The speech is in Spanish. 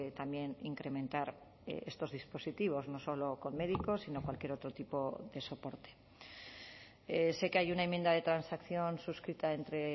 también incrementar estos dispositivos no solo con médicos sino cualquier otro tipo de soporte sé que hay una enmienda de transacción suscrita entre